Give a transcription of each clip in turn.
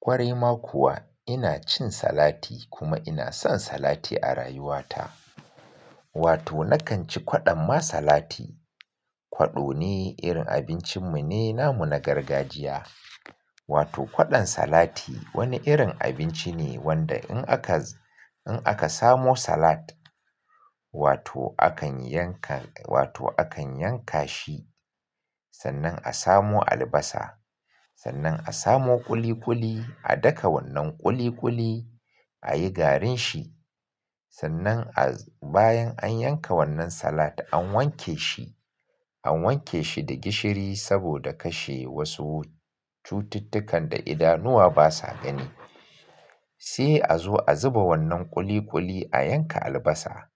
Kwarai ma kuwa ina cin salati kuma ina son salati a rayuwa ta. Wato na kan ci kwaɗon ma salati. Kwaɗo ne, irin abincin mu ne, namu na gargajiya. Wato kwaɗon salati wani irin abinci ne wanda in aka, in aka samo salat. Wato a kan yanka, wato a kan yanka shi. Sannan a samo albasa, sannan a samo ƙuli-ƙuli a daka wannan ƙuli-ƙuli a yi garin shi. Sannan a, bayan an yanka wannan salat an wanke shi, an wanke shi da gishiri saboda kashe wasu cututtukan da idanuwa ba sa gani. Sai a zo a zuba wannan ƙuli-ƙuli a yanka albasa.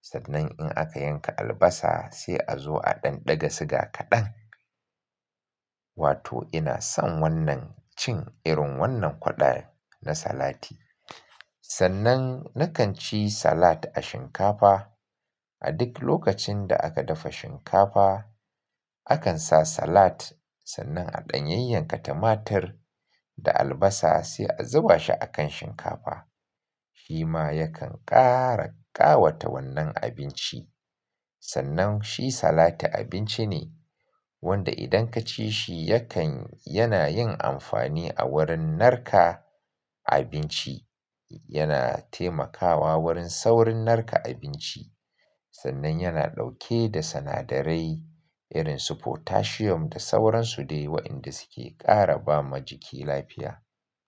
Sannan in aka yanka albasa sai a zo a ɗan ɗaga siga kaɗan. Wato ina son wannan cin irin wannan kwaɗon na salati. Sannan na kan ci salat a shinkafa. A duk lokacin da aka dafa shinkafa, a kan sa salat. Sannan a ɗan yayyanka tumatur da albasa sai a zuba shi a kan shinkafa. Shi ma ya kan ƙara ƙawata wannan abinci. Sannan shi salati abinci ne wanda idan ka ci shi yakan, yana yin amfani a wurin narka abinci. Yana taimakawa wurin saurin narka abinci. Sannan yana ɗauke da sinadarai irin su potassium da sauransu dai waƴanda suke ƙara ba ma jiki lafiya.